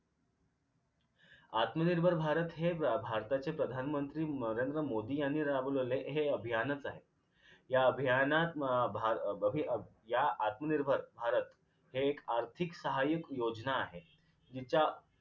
आत्मनिर्भर भारत हे ए भारताचे प्रधानमंत्री नरेंद्र मोदी यांनी राबविलेले हे अभियानचं आहे या अभियानात अभ अं बही या आत्मनिर्भर भारत हे एक आर्थिक सहाय्य्य योजना आहे जिचा